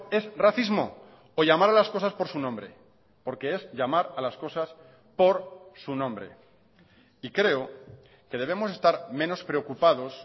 es racismo o llamar a las cosas por su nombre porque es llamar a las cosas por su nombre y creo que debemos estar menos preocupados